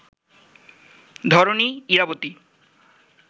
Dharani, Irabati